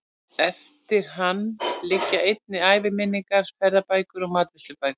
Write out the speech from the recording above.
Eftir hann liggja einnig æviminningar, ferðabækur og matreiðslubækur.